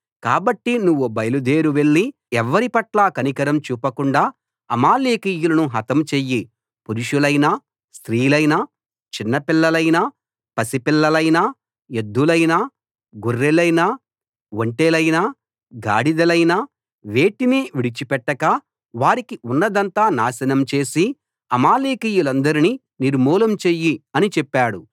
కాబట్టి నువ్వు బయలుదేరి వెళ్ళి ఎవ్వరి పట్లా కనికరం చూపకుండా అమాలేకీయులను హతం చెయ్యి పురుషులైనా స్త్రీలైనా చిన్నపిల్లలైనా పసిపిల్లలైనా ఎద్దులైనా గొర్రెలైనా ఒంటెలైనా గాడిదలైనా వేటినీ విడిచిపెట్టక వారికి ఉన్నదంతా నాశనం చేసి అమాలేకీయులందరినీ నిర్మూలం చెయ్యి అని చెప్పాడు